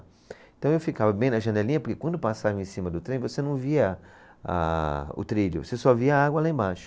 Então, eu ficava bem na janelinha, porque quando passava em cima do trem, você não via a o trilho, você só via a água lá embaixo.